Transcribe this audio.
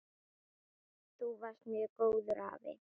Þú varst mjög góður afi.